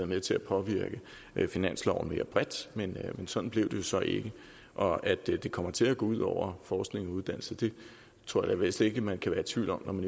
med til at påvirke finansloven mere bredt men sådan blev det jo så ikke og at det kommer til at gå ud over forskning og uddannelse tror jeg vist ikke man kan være tvivl om